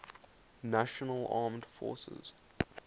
national armed forces